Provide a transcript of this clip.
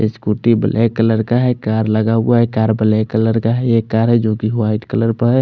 scooty black colour का है car लगा हुआ है कार कलर का है एक कार है जो की वाइट कलर क ह--